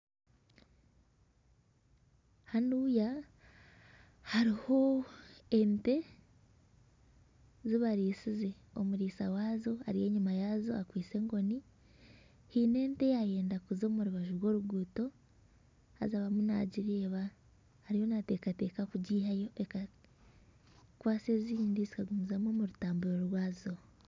Hanuya hariho ente ezibarisize omuriisa waazo ari enyuma yaazo akwaitse enkoni haine ente eyayenda kuza omurubaju rw'oruguuto haza arimu nagireeba ariyo nateekateeka kugiihayo ekakwasa ezindi zikagumizamu omu rutamburo rwaazo